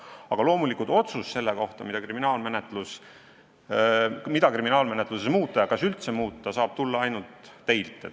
Aga loomulikult otsus selle kohta, mida kriminaalmenetluses muuta ja kas üldse muuta, saab tulla ainult teilt.